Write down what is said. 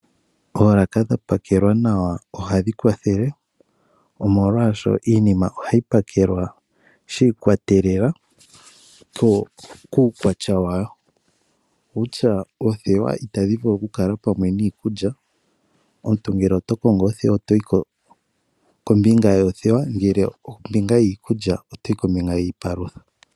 Olaka dhapakelwa nawa ohandhi kwathele omolwaasho iinima ohayi pakela shiikatelela kuukwatya wayo, utya oothewa itaadhi vulu oku kala pamwe niikulya omuntu ngele oto kongo oothewa otoyi kombinga yoo thewa ngele iikulya otoyi kombinga yiipalutha.